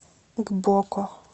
гбоко